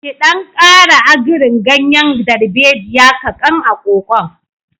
Ki ɗan ƙara agrin ganyen darbejiya kaƙan a kokon.